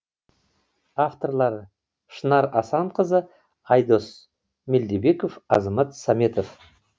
авторлары шынар асанқызы айдос мелдебеков азамат саметов